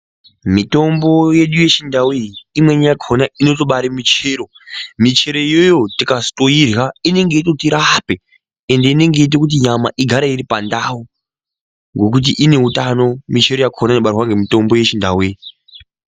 Mitombo yedu yechindau iyi imweni yakona imweni yakona inobara michero michero yacho tikazoirya imweni yakona inenge ichitoti rapa ende inenge yeita kuti nyama igare iri pandau ngokuti ine utano michero inobarwa ngemitombo yechindau iyi.